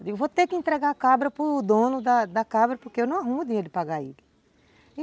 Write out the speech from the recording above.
Eu digo, vou ter que entregar a cabra para o dono da cabra porque eu não arrumo dinheiro de pagar ele.